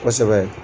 Kosɛbɛ